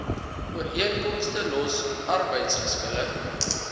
ooreenkomste los arbeidsgeskille